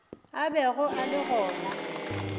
a bego a le gona